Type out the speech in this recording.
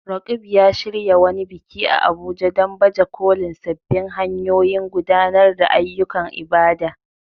Roqeeb ya shirya wani biki a Abuja don baje kolin sabbin hanyoyin gudanar da ayyukan ibada.